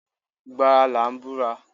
Ìgbà ara là ń búra.